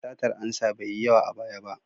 Satar ansa bai yi yawa a baya ba.